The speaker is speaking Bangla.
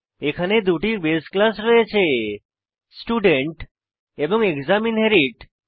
এখানে দুটি বাসে ক্লাস রয়েছে স্টুডেন্ট এবং এক্সাম আন্ডারস্কোর ইনহেরিট